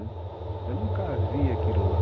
Eu nunca vi aquilo lá.